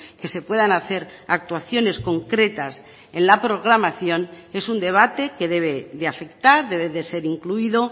que se puedan hacer actuaciones concretas en la programación es un debate que debe de afectar debe de ser incluido